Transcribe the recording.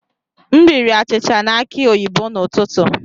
M riri achịcha na aki oyibo n'ụtụtụ.